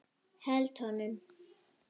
Held honum.